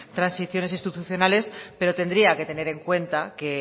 transiciones institucionales pero tendría que tener en cuenta que